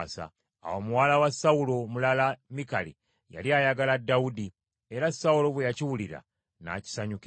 Awo muwala wa Sawulo omulala Mikali yali ayagala Dawudi, era Sawulo bwe yakiwulira, n’akisanyukira.